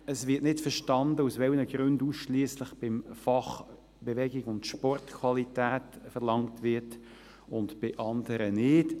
Es wird nicht verstanden, aus welchen Gründen ausschliesslich beim Fach Bewegung und Sport Qualität verlangt wird und bei anderen nicht.